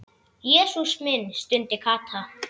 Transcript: Jesús minn stundi Kata.